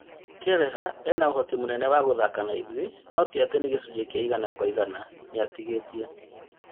Kelleher ena ũhoti mũnene wa gũthaka naithuĩ no tiatĩ nĩ gĩcunjĩ kĩa igana kwa igana, nĩatigĩtie